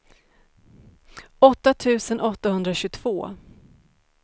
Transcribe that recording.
åtta tusen åttahundratjugotvå